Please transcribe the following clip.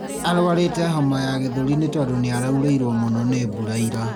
Arwarĩte homa ya gĩthũri nĩ tondũ nĩaraurĩrwo mũno nĩ mbura ira